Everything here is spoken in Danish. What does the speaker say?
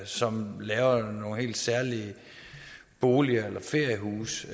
som laver nogle helt særlige boliger eller feriehuse